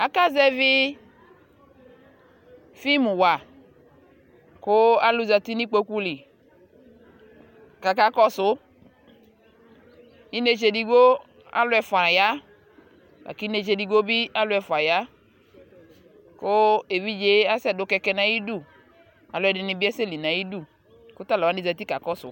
Akazɛvi fim wa kʋ alʋ zati nʋ ikpoku lι kakakɔsu Inetse edigbo alʋ ɛfua ya lakʋ inetse edigbo bi alʋ ɛfua ya ku evidzee asɛdʋ kɛkɛ nʋ ayʋdu Alʋɔdi ni bi asɛli nʋ ayʋdu kʋ talʋwa zati kakɔsu